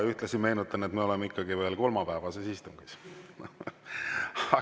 Ühtlasi meenutan, et me oleme ikkagi veel kolmapäevases istungis.